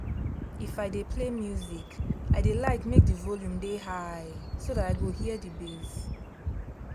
if i dey play music i dey like make the volume dey high so that i go hear the bass.